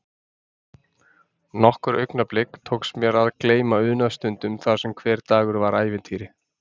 Nokkur augnablik tókst mér að gleyma unaðsstundum þar sem hver dagur var ævintýri.